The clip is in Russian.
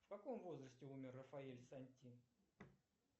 в каком возрасте умер рафаэль санти